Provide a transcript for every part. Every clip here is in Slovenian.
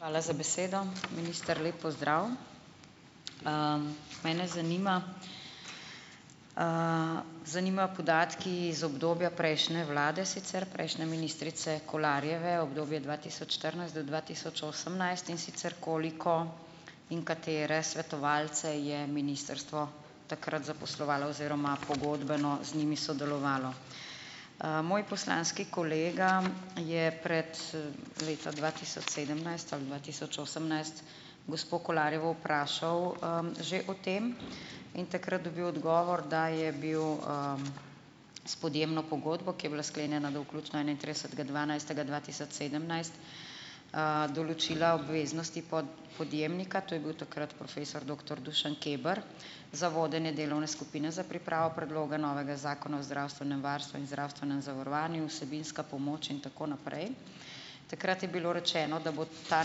Hvala za besedo. Minister, lep pozdrav! Mene zanima, zanimajo podatki iz obdobja prejšnje vlade sicer, prejšnje ministrice Kolarjeve, obdobje dva tisoč štirinajst do dva tisoč osemnajst, in sicer koliko in katere svetovalce je ministrstvo takrat zaposlovalo oziroma pogodbeno z njimi sodelovalo. Moj poslanski kolega je pred leti, dva tisoč sedemnajst ali dva tisoč osemnajst, gospo Kolarjevo vprašal, že o tem. In takrat dobil odgovor, da je bil, s podjemno pogodbo, ki je bila sklenjena do vključno enaintridesetega dvanajstega dva tisoč sedemnajst, določila obveznosti podjemnika, to je bil takrat profesor doktor Dušan Keber za vodenje delovne skupine za pripravo predloga novega zakona o zdravstvenem varstvu in zdravstvenem zavarovanju, vsebinska pomoč in tako naprej. Takrat je bilo rečeno, da bo ta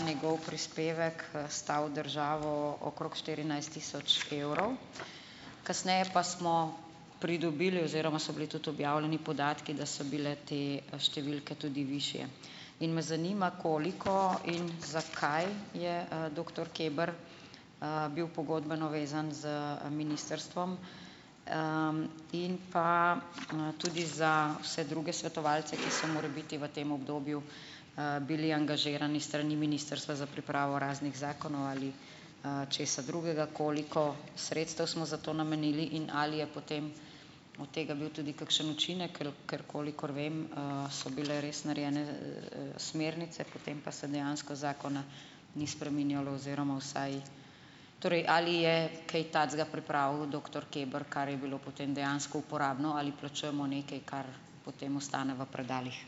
njegov prispevek, stal državo okrog štirinajst tisoč evrov. Kasneje pa smo pridobili oziroma so bili tudi objavljeni podatki, da so bile te številke tudi višje. In me zanima, koliko in zakaj je, doktor Keber, bil pogodbeno vezan z ministrstvom. In pa, tudi za vse druge svetovalce, ki so morebiti v tem obdobju, bili angažirani s strani ministrstva za pripravo raznih zakonov ali, česa drugega, koliko sredstev smo za to namenili in ali je potem od tega bil tudi kakšen učinek? Ker ker kolikor vem, so bile res narejene, smernice, potem pa se dejansko zakona ni spreminjalo. Oziroma vsaj torej, ali je kaj takega pripravil doktor Keber, kar je bilo potem dejansko uporabno, ali plačujemo nekaj, kar potem ostane v predalih?